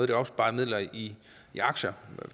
de opsparede midler i aktier